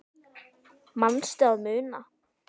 Manstu að muna?